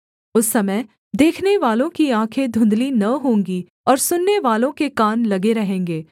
उस समय देखनेवालों की आँखें धुँधली न होंगी और सुननेवालों के कान लगे रहेंगे